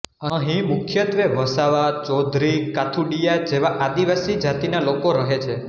અહીં મુખ્યત્વે વસાવા ચૌધરી કાથુડીયા જેવા આદિવાસી જાતિના લોકો રહે છે